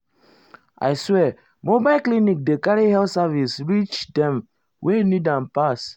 i swear mobile clinic dey carry health service reach dem wey need am pass.